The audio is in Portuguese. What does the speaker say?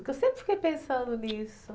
Porque eu sempre fiquei pensando nisso.